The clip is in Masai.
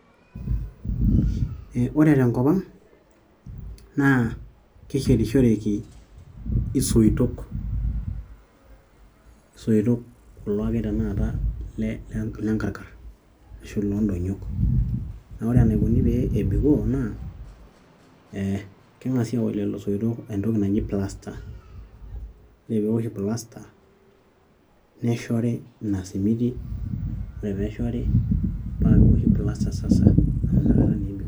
Ore tenkop ang naa keshetishoreki ishoitok kulo ake tenakata lenkarkar ashuu loondonyik naa ore enaikoni peebikoo naa ee keng'asi aaosh lelo soitok entoki naji plaster ore pee owoshi plaster neshori ina simiti ore pee eshori paa kewoshi plaster sasa amu inakata ebikoo.